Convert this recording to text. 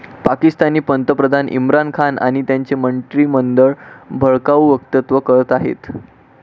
पाकिस्तानी पंतप्रधान इम्रान खान आणि त्यांचे मंत्रिमंडळ भडकाऊ वक्तव्य करत आहेत.